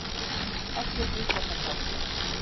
Allir vita þetta.